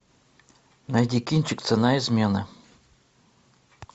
найди кинчик цена измены